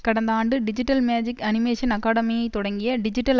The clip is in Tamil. கடந்த ஆண்டு டிஜிட்டல் மேஜிக் அனிமேஷன் அகாடமியை தொடங்கிய டிஜிட்டல்